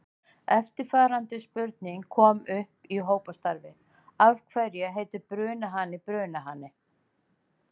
Eftirfarandi spurning kom upp í hópastarfi: Af hverju heitir brunahani brunahani?